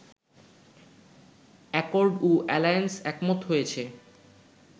Accord ও alliance একমত হয়েছে